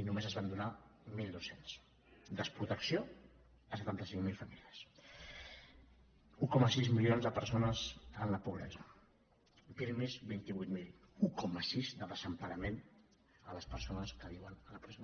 i només se’n van donar mil dos cents desprotecció a setanta cinc mil famílies un coma sis milions de persones en la pobresa pirmi vint vuit mil un coma sis de desemparament a les persones que viuen en la pobresa